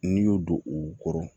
N'i y'o don u kɔrɔ